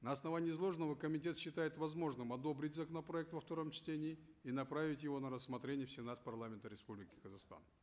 на основании изложенного комитет считает возможным одобрить законопроект во втором чтении и направить его на рассмотрение в сенат парламента республики казахстан